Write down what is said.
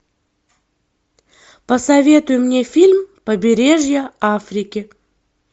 посоветуй мне фильм побережье африки